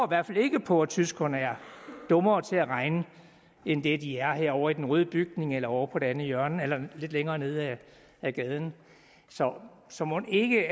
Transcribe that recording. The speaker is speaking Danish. hvert fald ikke på at tyskerne er dummere til at regne end de er herovre i den røde bygning eller ovre på det andet hjørne eller lidt længere nede ad gaden så så mon ikke